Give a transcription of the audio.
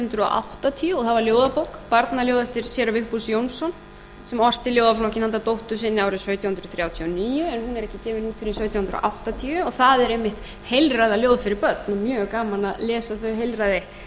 hundruð áttatíu og það var ljóðabók barnaljóð eftir séra vigfús jónsson sem orti ljóðaflokkinn handa dóttur sinni árið sautján hundruð þrjátíu og níu en hún er ekki gefin út fyrr en sautján hundruð áttatíu og það eru einmitt heilræðaljóð fyrir börn og mjög gaman að lesa þau heilræði